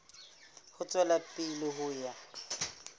ho tswela pele ho ya